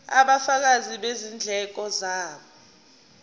ubufakazi bezindleko zabo